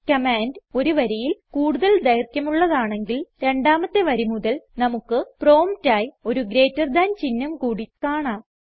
command ഒരു വരിയിൽ കൂടുതൽ ദൈർഘ്യമുള്ളതാണെങ്കിൽ രണ്ടാമത്തെ വരി മുതൽ നമുക്ക് പ്രോംപ്റ്റ് ആയി ഒരു ഗ്രേറ്റർ ദാൻ ചിഹ്നം കൂടി കാണാം